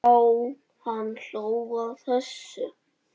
Já, hann hló að þessu!